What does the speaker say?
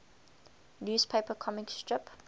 newspaper comic strip